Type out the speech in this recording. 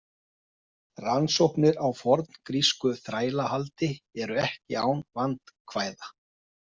Rannsóknir á forngrísku þrælahaldi eru ekki án vandkvæða.